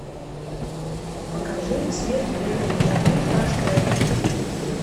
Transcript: покажи смерть берет выходной аш д